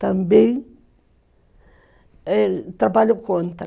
Também trabalhou contra.